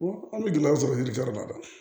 Wa an bɛ gɛlɛya sɔrɔ yiritɛri b'a la